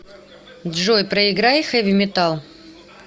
джой проиграй хэви метал